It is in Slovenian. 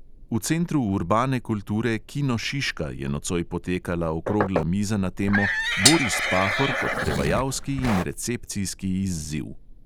V centru urbane kulture kino šiška je nocoj potekala okrogla miza na temo boris pahor kot prevajalski in recepcijski izziv.